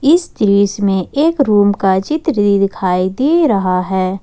इस दृश्य में एक रूम का चित्र दिखाई दे रहा है।